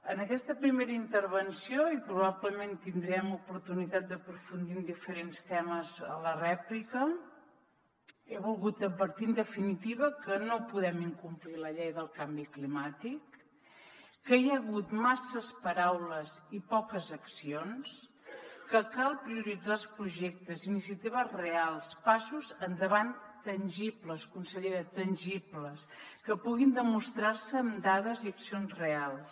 en aquesta primera intervenció i probablement tindrem oportunitat d’aprofundir en diferents temes a la rèplica he volgut advertir en definitiva que no podem incomplir la llei del canvi climàtic que hi ha hagut masses paraules i poques accions que cal prioritzar els projectes iniciatives reals passos endavant tangibles consellera tangibles que puguin demostrar se amb dades i accions reals